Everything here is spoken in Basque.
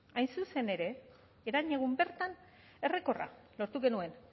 hain zuzen ere herenegun bertan errekorra lortu genuen